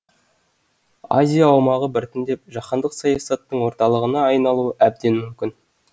азия аумағы біртіндеп жаһандық саясаттың орталығына айналуы әбден мүмкін